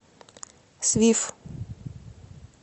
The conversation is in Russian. свиф